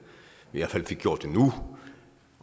i hvert fald fik gjort det nu